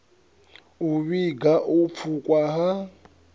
u vhiga u pfukhwa ha